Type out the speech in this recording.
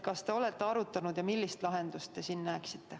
Kas te olete seda arutanud ja millist lahendust te siin näete?